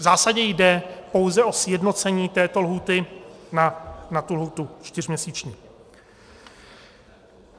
V zásadě jde pouze o sjednocení této lhůty na tu lhůtu čtyřměsíční.